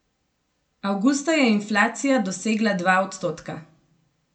Avgusta je inflacija dosegla dva odstotka.